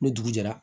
Ni dugu jɛra